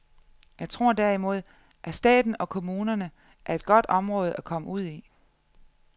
Jeg tror derimod, at staten og kommunerne er et godt område at komme ud i.